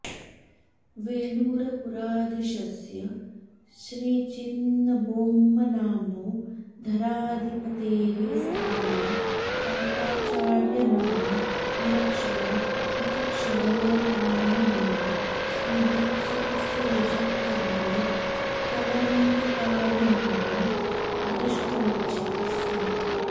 वेलूरपुराधीशस्य श्रीचिन्नबोम्मनाम्नो धराधिपतेः सभायां ताताचार्यनामा विलक्षणो विचक्षणोऽकारणमेव श्रीदीक्षितस्य यशश्चन्द्रे कलङ्ककालिमानं द्रष्टुमिच्छति स्म